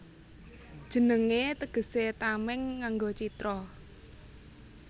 Jenengé tegesé Tamèng nganggo Citra